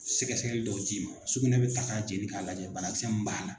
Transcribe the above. Sɛgɛsɛgɛli dɔw d'i ma sugunɛ bɛ ta k'a jeni k'a lajɛ banakisɛ min b'a la.